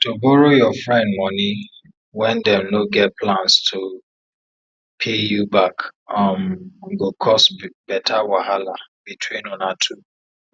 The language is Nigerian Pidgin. to borrow your friend money wen dem no get plans to pay you back um go cause better wahala between una two